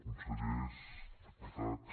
consellers diputats